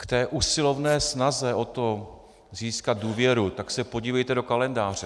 K té usilovné snaze o to získat důvěru, tak se podívejte do kalendáře.